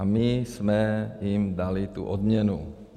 A my jsme jim dali tu odměnu.